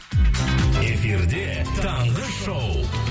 эфирде таңғы шоу